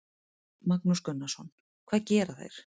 Magnús Gunnarsson: Hvað gera þeir?